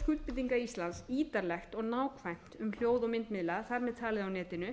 skuldbindinga íslands ítarlegt og nákvæmt um þjóð og myndmiðla þar með talið á netinu